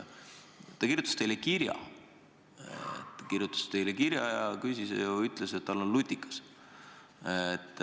Ta kirjutas teile kirja ja ütles, et tal on kabinetis lutikas.